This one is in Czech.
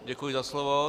Děkuji za slovo.